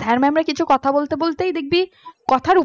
sir mam কিছু কথা বলতে বলতেই দেখবি কথার ওপরে